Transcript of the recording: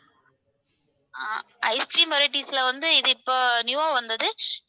அஹ் ice cream varieties ல வந்து இது இப்போ new ஆ வந்தது.